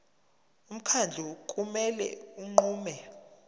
umkhandlu kumele unqume